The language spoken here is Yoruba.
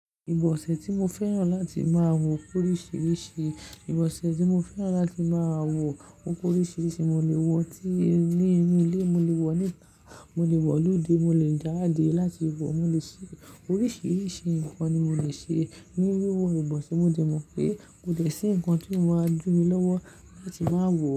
Ìbọ̀sẹ̀ tí mo fẹ́ràn láti máa wọ pé oríṣiríṣi ìbọ̀sẹ̀ tí mo fẹ́ràn láti máa wọ ó pé oríṣiríṣi. Mo lè wọ ó ti ní inú ilé, mo lè wọ níta, mo lè wọ loode, mo lè jáde láti wọ, mo lè ṣe oríṣiríṣi nǹkan ni mo lè ṣe ní wíwọ ìbọ̀sẹ̀. Mo dẹ̀ mọ̀ pé kò dẹ́ sí nǹkan tí o maa di mi lọ́wọ́ láti máa wọ̀